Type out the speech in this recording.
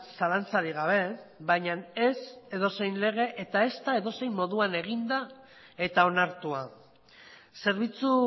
zalantzarik gabe baina ez edozein lege eta ezta edozein modutan eginda eta onartua zerbitzu